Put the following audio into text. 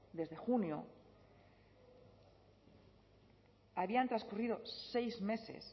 desde junio habían transcurrido seis meses